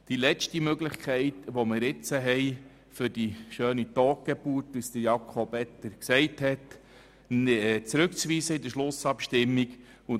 Als letzte Möglichkeit können wir nun die schöne «Totgeburt», wie sie Grossrat Etter genannt hat, mit der Schlussabstimmung zurückzuweisen.